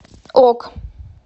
ок